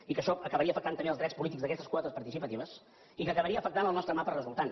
i que això acabaria afectant també els drets polítics d’aquestes quotes par·ticipatives i que acabaria afectant el nostre mapa resul·tant